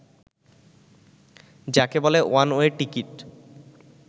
যাকে বলে 'one way ticket'